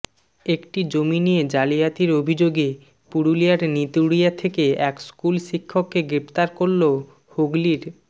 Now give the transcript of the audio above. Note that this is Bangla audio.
একটি জমি নিয়ে জালিয়াতির অভিযোগে পুরুলিয়ার নিতুড়িয়া থেকে এক স্কুল শিক্ষককে গ্রেফতার করল হুগলির